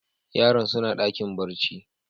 Yaran suna dakin barci.